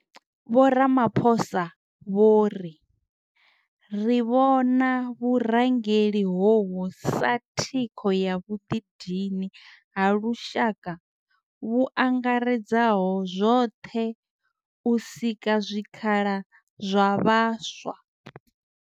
Vho Ramaphosa vho ri, Ri vhona vhurangeli hovhu sa thikho ya vhuḓidini ha lushaka vhu angaredzaho zwoṱhe u sika zwikhala zwa vhaswa.